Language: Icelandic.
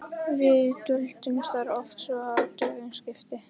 Við dvöldumst þar oft svo að dögum skipti.